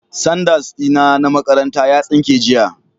Sandas dina na makaranta ya tsinke jiya